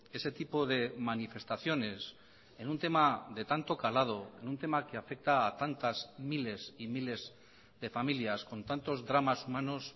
ese tipo de manifestaciones en un tema de tanto calado en un tema que afecta a tantas miles y miles de familias con tantos dramas humanos